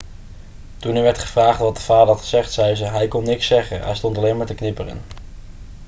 toen er werd gevraagd wat de vader had gezegd zei ze: 'hij kon niks zeggen. hij stond alleen maar te knipperen.'